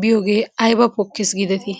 biyoogee ayba pokkes giidetii?